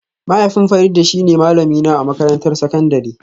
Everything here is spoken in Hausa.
Mahaifin Farida shine malamina a makarantar sakandare